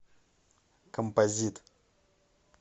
композит